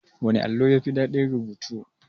Wana allo ne yafi daɗin rubutu?